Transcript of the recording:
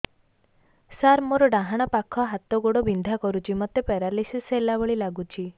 ସାର ମୋର ଡାହାଣ ପାଖ ହାତ ଗୋଡ଼ ବିନ୍ଧା କରୁଛି ମୋତେ ପେରାଲିଶିଶ ହେଲା ଭଳି ଲାଗୁଛି